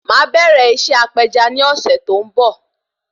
Máà bẹ̀rẹ̀ iṣẹ́ apeja ni ọ̀sẹ̀ tó ń bò